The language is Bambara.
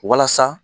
Walasa